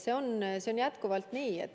See on jätkuvalt nii.